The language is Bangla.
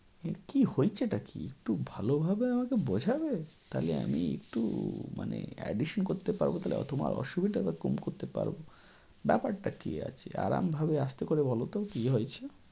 এর কী হয়েছেটা কী একটু ভালোভাবে আমাকে বোঝাবে? তাহলে আমি একটু মানে addition করতে পারব তাহলে অথবা তোমার অসুবিধাটা কম করতে পারব। ব্যাপারটা কী আছে? আরাম ভাবে আস্তে করে বলত কী হয়েছে?